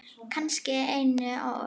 Kannski einum of.